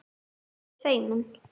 Ertu feimin?